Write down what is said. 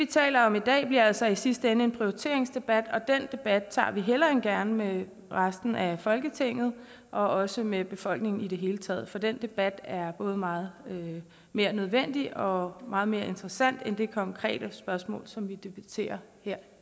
taler om i dag bliver altså i sidste ende en prioriteringsdebat og den debat tager vi hellere end gerne med resten af folketinget og også med befolkningen i det hele taget for den debat er både meget mere nødvendig og meget mere interessant end det konkrete spørgsmål som man debatterer